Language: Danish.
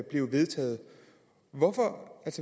blev vedtaget